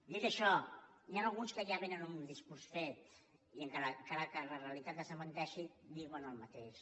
dit això n’hi ha alguns que ja vénen amb un discurs fet i encara que la realitat els desmenteixi diuen el mateix